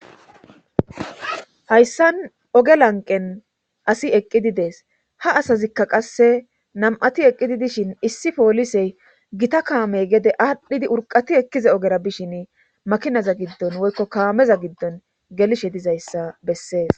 hayssan oge lanqen asi eqqidi dees ha Asazikka qasse nam7ati eqqidi dishin issi poolisey gita kaamey gede aadhdhidi urqati ekkiza ogera bishin makinaza giddon woykko kaameza giddon gelishe dizayssa bessees.